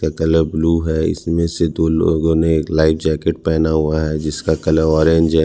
--Colour blue है इसमें से दो लोगों ने एक लाइफ जैकेट पहना हुआ है जिसका कलर ऑरेंज है।